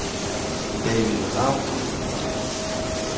David Ravn